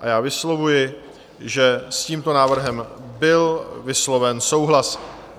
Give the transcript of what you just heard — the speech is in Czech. A já vyslovuji, že s tímto návrhem byl vysloven souhlas.